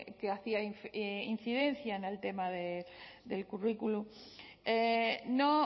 que hacía incidencia en el tema del currículum no